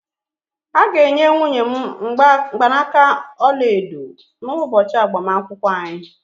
A ga-enye nwunye m mgbanaka ọla edo n'ụbọchị agbamakwụkwọ anyị